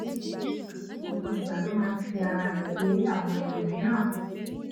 gbogbo ìgbà ló máa ń fi ara rè wé àwọn ẹlòmíràn